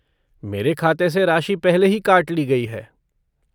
मेरे खाते से राशि पहले ही काट ली गई है।